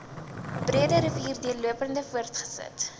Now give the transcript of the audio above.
breederivier deurlopend voortgesit